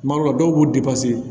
Kuma dɔw la dɔw b'u